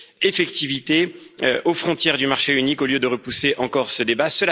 effectivité aux frontières du marché unique, au lieu de repousser encore ce débat.